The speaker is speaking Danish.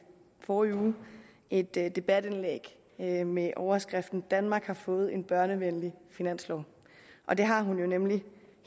forrige uge et debatindlæg med med overskriften danmark har fået en børnevenlig finanslov og det har hun nemlig